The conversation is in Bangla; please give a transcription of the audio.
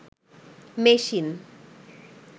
মেশিন